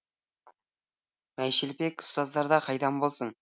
майшелпек ұстаздарда қайдан болсын